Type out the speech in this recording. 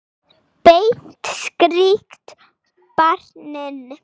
Beint strik á barinn.